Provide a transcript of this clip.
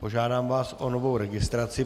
Požádám vás o novou registraci.